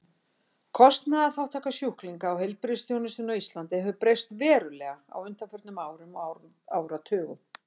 Kostnaðarþátttaka sjúklinga í heilbrigðisþjónustunni á Íslandi hefur breyst verulega á undanförnum árum og áratugum.